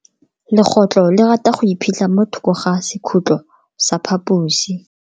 Legotlo le rata go iphitlha mo thoko ga sekhutlo sa phaposi.